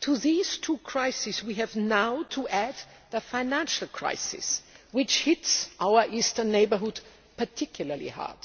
To these two crises we now have to add the financial crisis, which hits our eastern neighbourhood particularly hard.